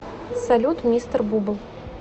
салют мистер бубл